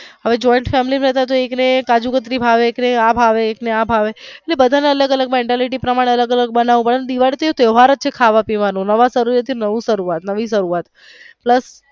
હવે joint family બધા ને એક ને કાજુકતરી ભાવે એક ને આ ભાવે એક ને આ ભાવે એટલે બધા ને અલગ અલગ mentality પ્રમાણે અલગ અલગ બનવું પડે ને અને દિવાળી તો તયોહવાર જ છે ને ખાવા પીવાનો નવા વર્ષ થી નવી શરૂવાત.